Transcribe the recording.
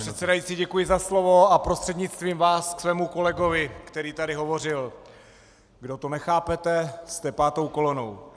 Pane předsedající, děkuji za slovo a prostřednictvím vás ke svému kolegovi, který tady hovořil: Kdo to nechápete, jste pátou kolonou.